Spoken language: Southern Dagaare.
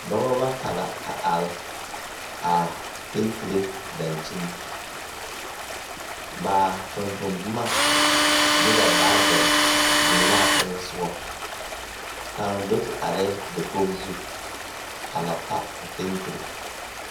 Dɔbɔ bata a are a pɛnters dakyini ba tontonne boma ne ba baavir biŋ la a teŋɛ soɔ kaŋ do te are la dakogi zu a na ta a pɛntere.